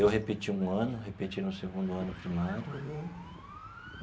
Eu repeti um ano, repeti no segundo ano primário. Uhum.